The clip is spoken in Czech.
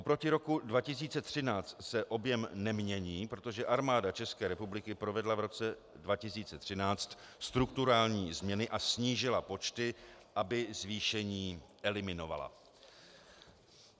Oproti roku 2013 se objem nemění, protože Armáda České republiky provedla v roce 2013 strukturální změny a snížila počty, aby zvýšení eliminovala.